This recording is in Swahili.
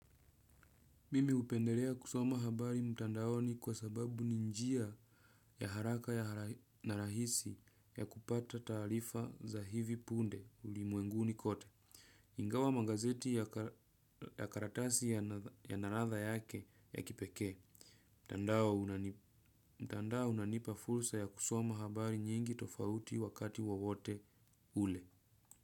Mimi hupendelea kusoma habari mtandaoni kwa sababu ni njia ya haraka na rahisi ya kupata taarifa za hivi punde ulimwenguni kote. Ingawa magazeti ya karatasi yanaladha yake ya kipekee. Mtandao unanipa fursa ya kusoma habari nyingi tofauti wakati wowote ule.